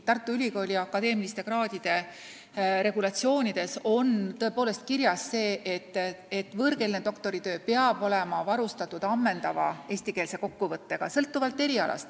Tartu Ülikooli akadeemilisi kraade käsitlevas regulatsioonis on tõepoolest kirjas, et võõrkeelne doktoritöö peab olema varustatud ammendava eestikeelse kokkuvõttega.